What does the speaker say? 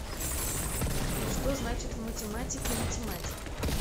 что значит в математике математик